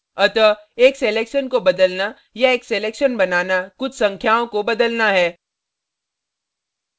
अतः एक selection को बदलना या एक selection बनाना कुछ संख्याओं को बदलना है